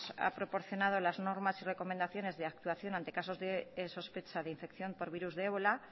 ha proporcionado las normas y recomendaciones de actuación ante casos de sospecha de infección por virus de ébola